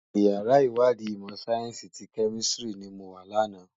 Iyàrá iwàdí imò sáyènsí ti Kèmìsítìrí ni mó wá làná